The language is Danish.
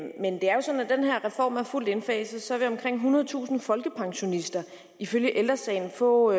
den her reform er fuldt indfaset vil omkring ethundredetusind folkepensionister ifølge ældre sagen få